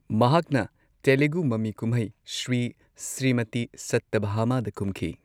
ꯃꯍꯥꯛꯅ ꯇꯦꯂꯨꯒꯨ ꯃꯃꯤ-ꯀꯨꯝꯍꯩ ꯁ꯭ꯔꯤ ꯁ꯭ꯔꯤꯃꯇꯤ ꯁꯠꯇ꯭ꯌꯚꯥꯃꯥꯗ ꯀꯨꯝꯈꯤ꯫